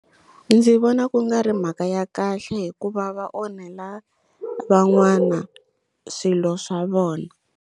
Ndzi vona ku nga ri mhaka ya kahle hikuva va onhela van'wana swilo swa vona.